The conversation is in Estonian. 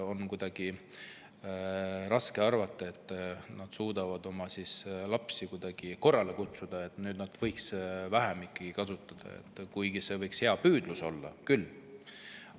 On kuidagi raske arvata, et vanemad suudaksid siis oma lapsi korrale kutsuda, et need võiksid ikkagi vähem nutiseadmeid kasutada, kuigi see püüdlus võib hea olla.